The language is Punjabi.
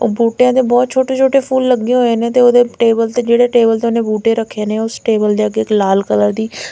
ਉਹ ਬੂਟਿਆਂ ਤੇ ਬਹੁਤ ਛੋਟੇ ਛੋਟੇ ਫੁੱਲ ਲੱਗੇ ਹੋਏ ਨੇ ਤੇ ਉਹਦੇ ਟੇਬਲ ਤੇ ਜਿਹੜੇ ਟੇਬਲ ਤੇ ਉਹਨੇ ਬੂਟੇ ਰੱਖੇ ਨੇ ਉਸ ਟੇਬਲ ਦੇ ਅੱਗੇ ਇੱਕ ਲਾਲ ਕਲਰ ਦੀ--